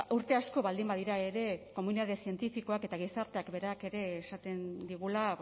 urte asko baldin badira ere komunitate zientifikoak eta gizarteak berak ere esaten digula